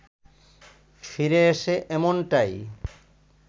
ফিরে এসে এমনটাই